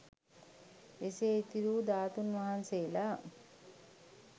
එසේ ඉතිරි වු ධාතුන් වහන්සේලා